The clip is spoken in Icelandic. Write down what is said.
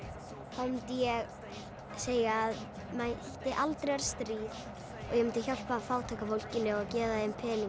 þá mundi ég segja að mætti aldrei vera stríð og ég mundi hjálpa fátæka fólkinu gefa þeim pening